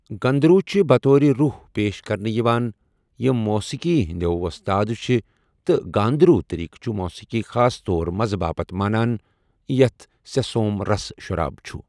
گندھرو چھِ بطور روح پیش كرنہٕ یوان یِم موسیقی ہندِ ووستاد چھِ تہٕ گاندھرو٘ طریقہٕ چھٗ موسیقی خاص طور مزٕ باپتھ مانان، یتھ سٕہِ سوم رس شراب چھٗ ۔